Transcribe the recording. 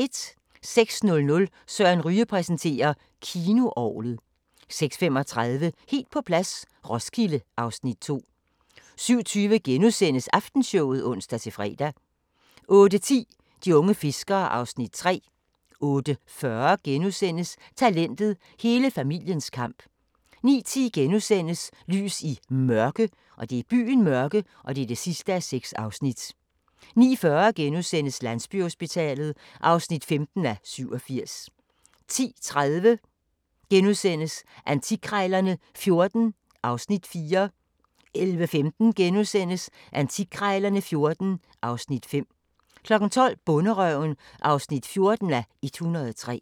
06:00: Søren Ryge præsenterer: Kinoorglet 06:35: Helt på plads - Roskilde (Afs. 2) 07:20: Aftenshowet *(ons-fre) 08:10: De unge fiskere (Afs. 3) 08:40: Talentet – hele familiens kamp * 09:10: Lys i Mørke (6:6)* 09:40: Landsbyhospitalet (15:87)* 10:30: Antikkrejlerne XIV (Afs. 4)* 11:15: Antikkrejlerne XIV (Afs. 5)* 12:00: Bonderøven (14:103)